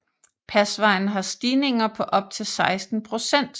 Pasvejen har stigninger på op til 16 procent